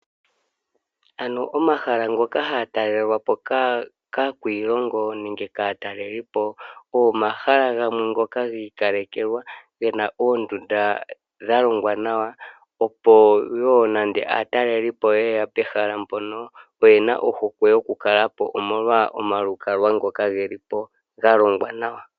Ano omahala ngoka haga talelwapo kaakwiilingo nenge kaatalelipo ogo omahala gamwe ngoka giikalekelwa gena oondunda dhalongwa nawa, opo wo nande aatalelipo ye ya pehala mpoka oyena ohokwe yoku kalapo omolwa omalukalwa ngoka geli po galongwa nawa.